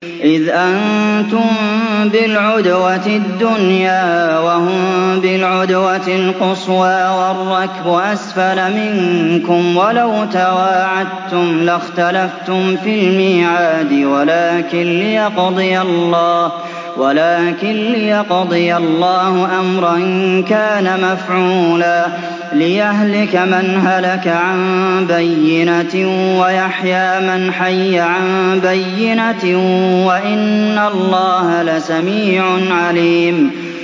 إِذْ أَنتُم بِالْعُدْوَةِ الدُّنْيَا وَهُم بِالْعُدْوَةِ الْقُصْوَىٰ وَالرَّكْبُ أَسْفَلَ مِنكُمْ ۚ وَلَوْ تَوَاعَدتُّمْ لَاخْتَلَفْتُمْ فِي الْمِيعَادِ ۙ وَلَٰكِن لِّيَقْضِيَ اللَّهُ أَمْرًا كَانَ مَفْعُولًا لِّيَهْلِكَ مَنْ هَلَكَ عَن بَيِّنَةٍ وَيَحْيَىٰ مَنْ حَيَّ عَن بَيِّنَةٍ ۗ وَإِنَّ اللَّهَ لَسَمِيعٌ عَلِيمٌ